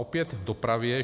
Opět k dopravě.